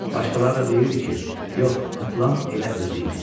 Başqaları da deyirdi ki, yox, atılan elə özü idi.